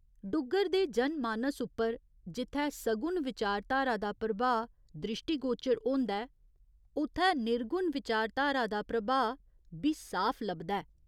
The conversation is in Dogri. डुग्गर दे जन मानस उप्पर जित्थै सगुण विचारधारा दा प्रभाऽ द्रिश्टीगोचर होंदा ऐ उत्थै निर्गुण विचारधारा दा प्रभाऽ बी साफ लभदा ऐ।